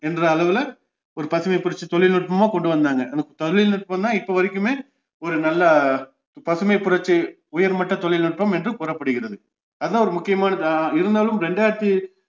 என்ற அளவுல ஒரு பசுமைபுரட்சி தொழில்நுட்பமா கொண்டுவந்தாங்க அந்த தொழில்நுட்பம் தான் இப்போ வரைக்குமே ஒரு நல்ல பசும புரட்சி உயர்மட்ட தொழில்நுட்பம் என்று கூறப்படுகிறது அதுதான் ஒரு முக்கியமானதா இருந்தாலும் ரெண்டாயிரத்தி